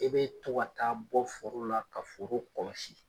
E bɛ to ka taa bɔ foro la ka foro kɔlɔsi.